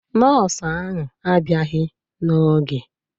Nọọsụ ahụ a bịaghị n'oge